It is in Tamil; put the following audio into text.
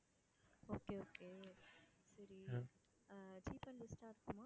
okay okay சரி அஹ் cheap and best ஆ இருக்குமா?